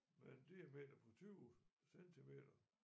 Med en diameter på 20 centimeter